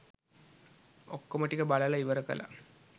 ඔක්කොම ටික බලලා ඉවර කලා.